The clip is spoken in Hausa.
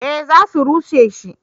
Eh za su rushe shi